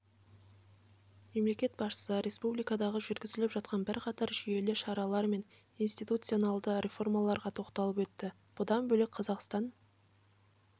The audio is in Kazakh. мемлекет басшысы республикада жүргізіліп жатқан бірқатар жүйелі шаралар мен институционалдық реформаларға тоқталып өтті бұдан бөлек қазақстан